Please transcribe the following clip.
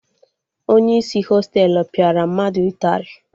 Onye isi Hostelu pịara mmadụ ụtarị